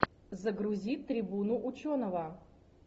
загрузи трибуну ученого